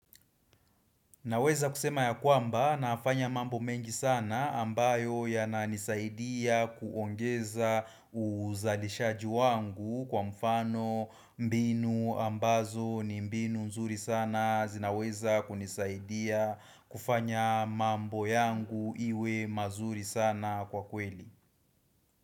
Naweza kusema ya kwamba, nafanya mambo mengi sana, ambayo ya na nisaidia kuongeza uzalishaji wangu, kwa mfano mbinu ambazo ni mbinu nzuri sana, zinaweza kunisaidia kufanya mambo yangu iwe mazuri sana kwa kweli.